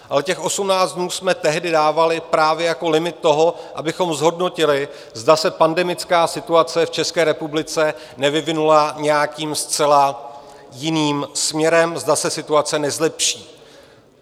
Ale těch 18 dnů jsme tehdy dávali právě jako limit toho, abychom zhodnotili, zda se pandemická situace v České republice nevyvinula nějakým zcela jiným směrem, zda se situace nezlepší.